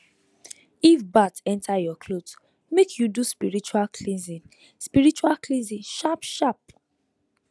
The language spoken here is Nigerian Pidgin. if bat enter your cloth make you do spiritual cleansing spiritual cleansing sharpsharp